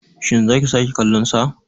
Shin za ki sake kallonsa.